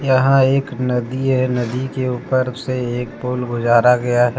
यहां एक नदी है नदी के ऊपर से एक पुल गुजारा गया है।